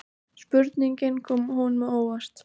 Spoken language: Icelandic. Spurningin kom honum á óvart.